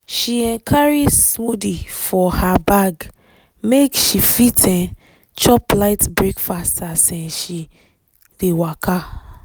she um carry smoothie for her bag make she fit um chop light breakfast as um she dey waka.